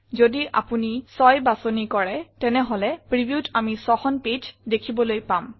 যদি আমি ৬ বাছনি কৰো তেনেহলে previewত আমি ৬খন পেজ দেখিবলৈ পাম